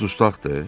O dustaqdır?